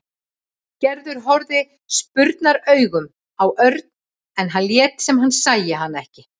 Gerður horfði spurnaraugum á Örn en hann lét sem hann sæi hana ekki.